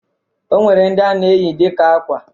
O nwere ndi a na-eyi dịka akwa